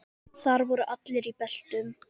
Þar voru allir í beltum.